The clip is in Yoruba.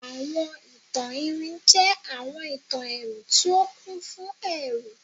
Awọn itan iwin jẹ awọn itan ẹru ti o kun fun ẹru